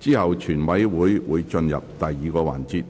之後全委會會進入第二個環節，